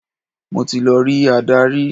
Mo ti lọ rí adarí.